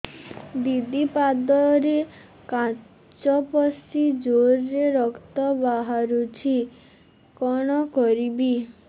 ଦିଦି ପାଦରେ କାଚ ପଶି ଜୋରରେ ରକ୍ତ ବାହାରୁଛି କଣ କରିଵି